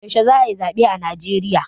yaushe za a yi zabe a Najeriya?